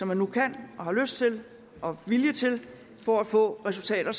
man nu kan har lyst til og vilje til for at få resultater